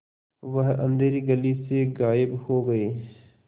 वह अँधेरी गली से गायब हो गए